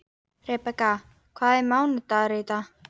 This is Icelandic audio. Rebekka, hvaða mánaðardagur er í dag?